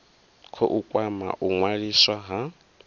khou kwama u ṅwaliswa ha